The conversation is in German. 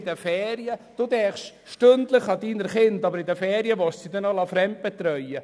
Sie denken stündlich an Ihre Kinder, aber in den Ferien sollen sie fremdbetreut werden.